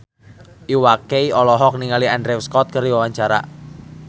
Iwa K olohok ningali Andrew Scott keur diwawancara